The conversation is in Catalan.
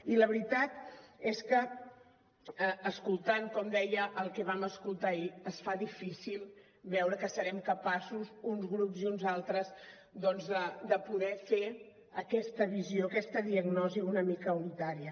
i la veritat és que escoltant com deia el que vam escoltar ahir es fa difícil veure que serem capaços uns grups i uns altres doncs de poder fer aquesta visió aquesta diagnosi una mica unitària